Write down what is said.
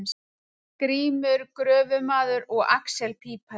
Grímur gröfumaður og axel pípari.